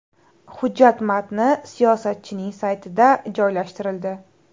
Hujjat matni siyosatchining saytida joylashtirildi.